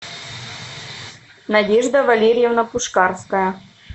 надежда валерьевна пушкарская